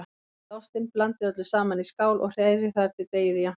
Rífið ostinn, blandið öllu saman í skál og hrærið þar til deigið er jafnt.